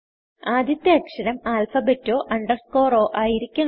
ആദ്യത്തെ അക്ഷരം ആല്ഫബെറ്റോ അണ്ടർസ്കോർ ആയിരിക്കണം